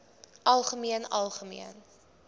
algemeen algemeen